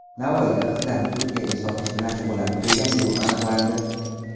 Navoiyda qizlarni Turkiyaga sotish bilan shug‘ullanib kelgan guruh aniqlandi.